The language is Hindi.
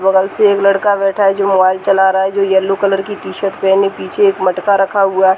बगल से एक लड़का बैठा है। जो मोबाइल चला रहा है। जो येलो कलर की टी शर्ट पेहने पीछे एक मटका रखा हुआ है।